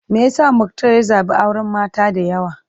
Me yasa Muktar ya zabi auren mata da yawa?